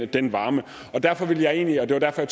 den varme og derfor vil jeg egentlig det var derfor